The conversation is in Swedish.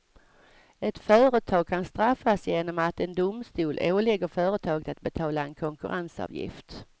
Ett företag kan straffas genom att en domstol ålägger företaget att betala en konkurrensavgift.